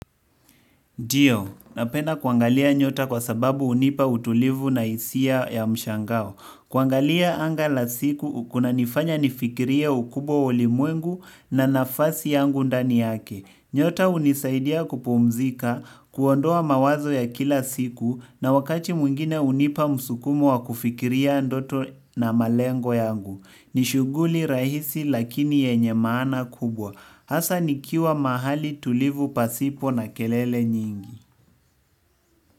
Ndiyo, napenda kuangalia nyota kwa sababu hunipa utulivu na hisia ya mshangao. Kuangalia anga la siku, kunanifanya nifikirie ukubwa wa ulimwengu na nafasi yangu ndani yake. Nyota hunisaidia kupumzika, kuondoa mawazo ya kila siku na wakati mwingine hunipa msukumo wa kufikiria ndoto na malengo yangu. Ni shughuli rahisi lakini yenye maana kubwa. Hasa nikiwa mahali tulivu pasipo na kelele nyingi.